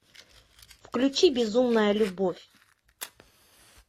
включи безумная любовь